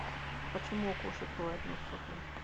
почему у кошек бывает нос сухой